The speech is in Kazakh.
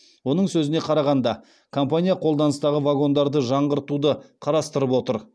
оның сөзіне қарағанда компания қолданыстағы вагондарды жаңғыртуды қарастырып отыр